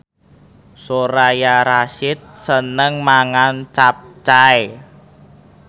Soraya Rasyid seneng mangan capcay